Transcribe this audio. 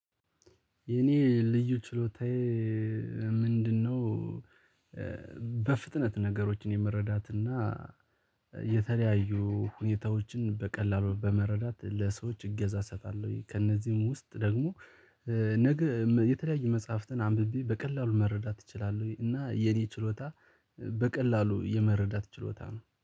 የኔ ልዩ ችሎታዬ ምንድነው? በፍጥነት ነገሮችን የመረዳት እና የተለያዩ ሁኔታዎችን በቀላሉ በመረዳት ለሰዎች እገዛ እሰጣለሁኝ ከእነዚህም ውስጥ ደግሞ ነገ የተለያዩ መፅሐፍትን አንብቤ በቀላሉ መረዳት እችላለሁኝ። እና የኔ ችሎታ በቀላሉ የመረዳት ችሎታ ነው